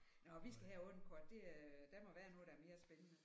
Nåh vi skal have et andet kort det øh der må være noget der er mere spændende